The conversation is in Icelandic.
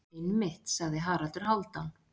Einmitt, sagði Haraldur Hálfdán.